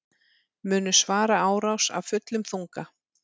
Munu svara árás af fullum þunga